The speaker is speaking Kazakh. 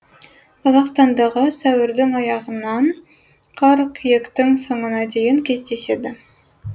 қазақстандағы сәуірдің аяғынан қыркүйектің соңына дейін кездеседі